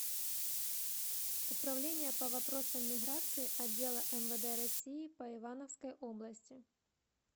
управление по вопросам миграции отдела мвд россии по ивановской области